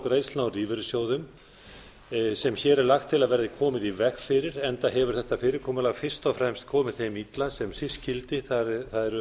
greiðslna úr lífeyrissjóðum sem hér er lagt til að verði komið í veg fyrir enda hefur þetta fyrirkomulag fyrst og fremst komið þeim illa sem síst skyldi það er